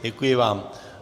Děkuji vám.